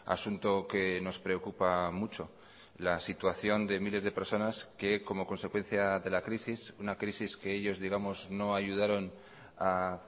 asunto que nos preocupa mucho la situación de miles de personas que como consecuencia de la crisis una crisis que ellos digamos no ayudaron a